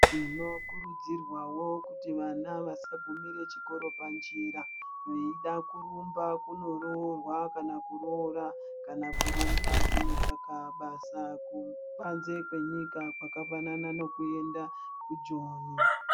Tinokurudzirwawo vana vasagumire chikoro panjira, veyida kurumba kunoroorwa , kana kuroora, kana kurumba kunotsvaka basa panze kwenyika kwakafanana nekuenda kuJoni.